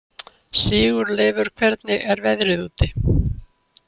Sigurleifur, hvernig er veðrið úti?